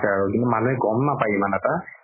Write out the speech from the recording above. কিন্তু মানুহে গ'ম নাপাই ইমান এটা